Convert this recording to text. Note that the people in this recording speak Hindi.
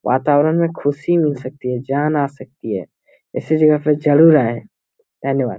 वातावरण में ख़ुशी मिल सकती है। जान आ सकती हैं। धन्यवाद।